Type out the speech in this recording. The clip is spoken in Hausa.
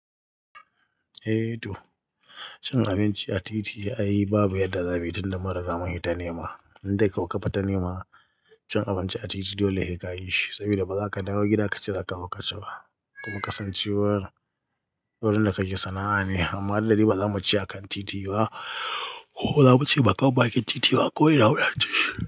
Eh toh, cin abinci a titi ai babu yadda za mu yi tun da mun ri ga mun hi ta nema. Inde ko ka fi ta nema cin abinci a titi dole he kayishi saboda ba za ka dawo gida ka ce, za ka zo kaci ba kuma ƙasancewar wurin da kake sana'a ne. Amma lalla di ba za mu ci a kan titi ba. Ko za mu ce bakamab bakin titi ba ko ina muna cinshi.